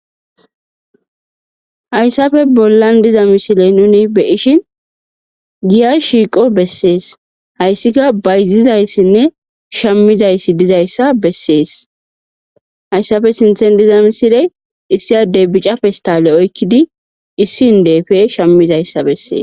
hayssafe bollan diza misiley nuni beyishin giya shiiqo bessees hayssika bayzizayssinne shammizayssi dizayssa bessees hayssafe sinthen diza misile issiyadey bicapestale oykkidi issin deefe shammizayssa bessees